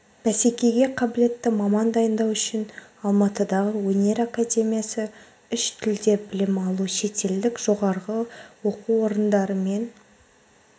бәсекеге қабілетті маман дайындау үшін алматыдағы өнер академиясы үш тілде білім алу шетелдік жоғарғы оқу орындарымен